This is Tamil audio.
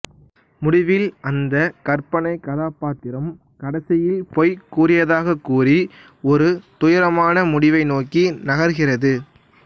முடிவில் அந்த கற்பனை கதாபாத்திரம் கடைசியில் பொய் கூறியதாகக் கூறி ஒரு துயரமான முடிவை நோக்கி நகர்கிறது